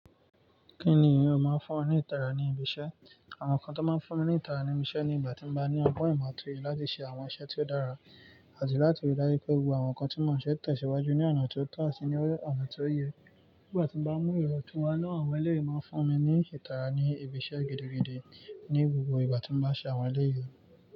Kí ni ìran máa ń fún ọ ní ìtara ní ibi iṣẹ́? Àwọn nǹkan tó máa ń fún mi ní ìtara ní ibi iṣẹ́ ní ìgbà tí mo bá ní ọgbọ́n ìmọ̀ àti èrò láti ṣe àwọn iṣẹ́ tí ó dára àti láti rí dájú pé gbogbo àwọn nǹkan tó mọ̀ọ́ṣẹ́ tẹ̀síwájú ní ọ̀nà tó tọ́ àti ní ọ̀nà tó yẹ. Nígbà tí mo bá mú ìrọ̀túnwa náà, àwọn ẹlẹ́rìí máa ń fún mi ní ìtara ní ibi iṣẹ́ gidigidi ní gbogbo ìgbà tí mo bá ṣe àwọn ẹlẹ́rìí.